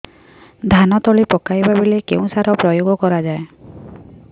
ଧାନ ତଳି ପକାଇବା ବେଳେ କେଉଁ ସାର ପ୍ରୟୋଗ କରିବା